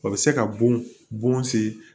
O bɛ se ka bon se